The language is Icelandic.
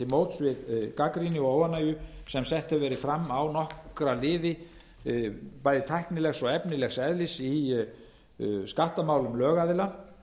við gagnrýni og óánægju sem sett hefur verið fram á nokkra liði bæði tæknilegs og efnislegs eðlis í skattamálum lögaðila